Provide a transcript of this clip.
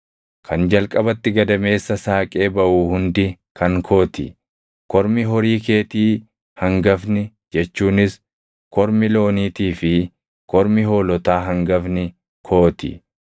“Kan jalqabatti gadameessa saaqee baʼu hundi kan koo ti; kormi horii keetii hangafni jechuunis kormi looniitii fi kormi hoolotaa hangafni koo ti.